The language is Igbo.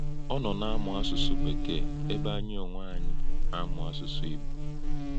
Ọ́ nọ̀ nā-āmụ̀ àsụ̀sụ̀ Békee ébè̄ ānyị̄ onwē ānyị̄ nā-āmụ̀ àsụ̀sụ̀ Ìgbò.